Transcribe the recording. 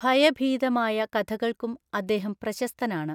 ഭയഭീതമായ കഥകൾക്കും അദ്ദേഹം പ്രശസ്തനാണ്.